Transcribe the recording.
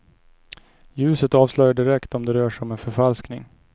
Ljuset avslöjar direkt om det rör sig om en förfalskning.